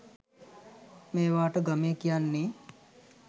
මේවාට ගමේ කියන්නේ